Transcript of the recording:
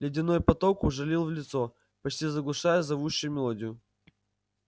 ледяной поток ужалил в лицо почти заглушая зовущую мелодию